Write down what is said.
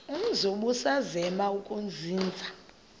umzi ubusazema ukuzinza